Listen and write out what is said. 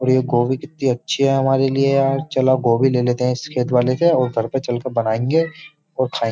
और ये गोभी कितनी अच्छी है हमारे लिए यार चलो गोभी ले लेते हैं इस खेत वाले से और घर पर चलकर बनाएंगे और खाएंगे।